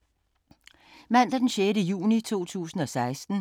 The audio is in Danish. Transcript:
Mandag d. 6. juni 2016